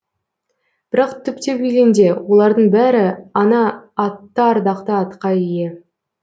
бірақ түптеп келгенде олардың бәрі ана атты ардақты атқа ие